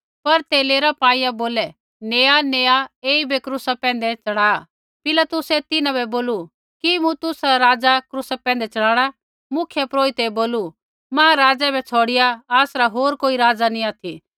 पर ते लेरा पाईआ नेया नेया ऐईबै क्रूसा पैंधै च़ढ़ा पिलातुसै तिन्हां बै बोलू कि मूँ तुसरा राज़ा क्रूसा पैंधै च़ढ़ाणा मुख्यपुरोहिते बोलू महाराज़ै बै छ़ौड़िआ आसरा होर कोई राज़ा नी ऑथि